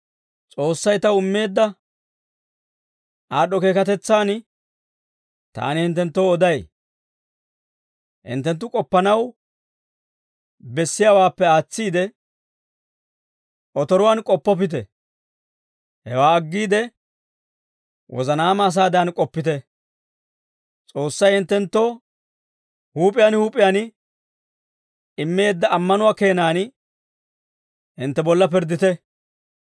S'oossay taw immeedda aad'd'o keekatetsaan taani hinttenttoo oday. Hinttenttu k'oppanaw bessiyaawaappe aatsiide, otoruwaan k'oppoppite; hewaa aggiide, wozanaama asaadan k'oppite; S'oossay hinttenttoo huup'iyaan huup'iyaan immeedda ammanuwaa keenan hintte bolla pirddite.